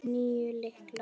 Níu lyklar.